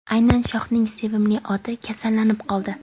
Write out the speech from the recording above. aynan shohning sevimli oti kasallanib qoldi.